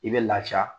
I bɛ lafiya